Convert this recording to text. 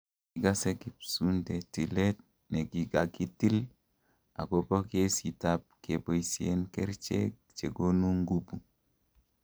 kigase kipsuunte tilet negigagitil agoba gesiit ab keboisien kericheg chegonu ngubuu